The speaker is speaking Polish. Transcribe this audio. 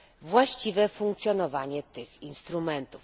właściwe funkcjonowanie tych instrumentów.